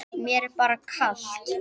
Mér er bara kalt.